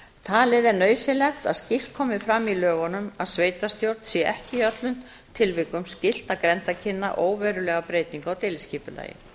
talið er nauðsynlegt að slíkt komi fram í lögunum að sveitarstjórn sé ekki í öllum tilvikum skylt að grenndarkynna óverulega breytingu á deiliskipulagi